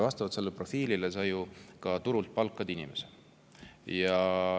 Vastavalt sellele profiilile palgatakse turult inimene.